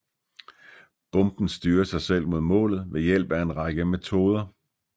Bomben styrer sig selv mod målet ved hjælp af en række metoder